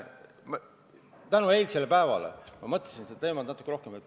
Tänu eilsele päevale ma mõtlesin sellele teemale natukene rohkem.